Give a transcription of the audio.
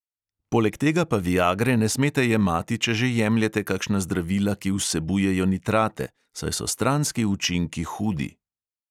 Poleg tega pa viagre ne smete jemati, če že jemljete kakšna zdravila, ki vsebujejo nitrate, saj so stranski učinki hudi.